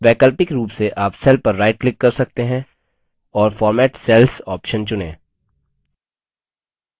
वैकल्पिक रूप से आप cell पर right click कर सकते हैं और format cells option चुनें